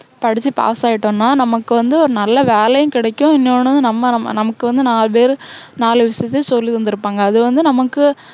படிச்சு pass ஆயிட்டோன்னா, நமக்கு வந்து ஒரு நல்ல வேலையும் கிடைக்கும். இன்னொண்ணு நம்ம~நமக்கு வந்து நாலு பேரு, நாலு விஷயத்தையும் சொல்லி தந்துருப்பாங்க. அது வந்து நமக்கு,